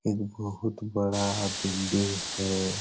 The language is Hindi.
एक बहुत बड़ा बिल्डिंग है।